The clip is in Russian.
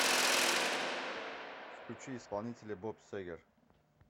включи исполнителя боб сегер